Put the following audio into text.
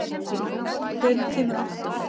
Pétrína, hvenær kemur áttan?